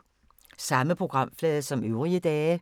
Samme programflade som øvrige dage